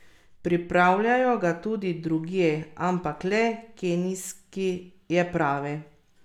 Pripravljajo ga tudi drugje, ampak le kenijski je pravi.